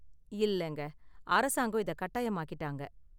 இல்லங்க, அரசாங்கம் இத கட்டாயமாக்கிட்டாங்க.